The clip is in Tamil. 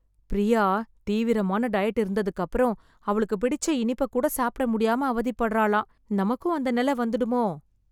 ப்ரியா தீவிரமான டயட் இருந்ததுக்கப்பறம், அவளுக்கு பிடிச்ச இனிப்பைக் கூட சாப்பிட முடியாம அவதிப்படறாளாம்... நமக்கும் அந்த நிலை வந்துடுமோ...